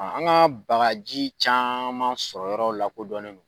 An ka bagaji caman sɔrɔ yɔrɔ lakodɔn nɔ.